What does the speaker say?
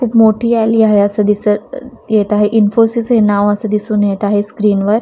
खूप मोठी आली आहे असं दिसत येत आहे इनफोसिस हे नाव असं दिसून येत आहे स्क्रीन वर.